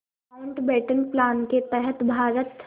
Mountbatten plan के तहत भारत